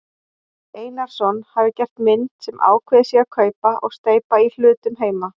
Einarsson hafi gert mynd sem ákveðið sé að kaupa og steypa í hlutum heima.